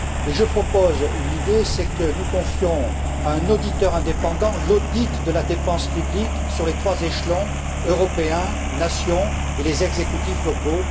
Je propose une idée, c'est que nous confiions à un auditeur indépendant l'audit de la dépense publique sur les trois échelons européen, nations et les exécutifs locaux.